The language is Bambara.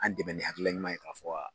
An dɛmɛ ni hakilina ɲuman ye ka fɔ wa